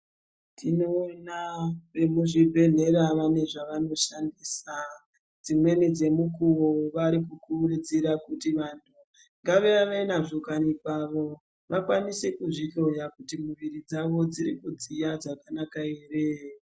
Tinoona vemuzvibhedhlera vane zvavanoshandisa, dzimweni dzemukuwo vari kukurudzira kuti vantu ngavave nazvo kundani kwavo kuti vakwanise kuzvihloya kuti miviri dzavo dziri kudziya zvakanaka here.